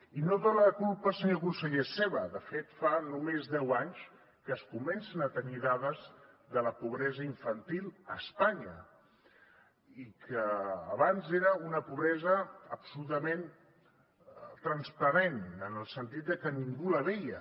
i no tota la culpa senyor conseller és seva de fet fa només deu anys que es comencen a tenir dades de la pobresa infantil a espanya i abans era una pobresa absolutament transparent en el sentit de que ningú la veia